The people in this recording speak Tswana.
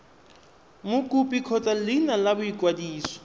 mokopi kgotsa leina la boikwadiso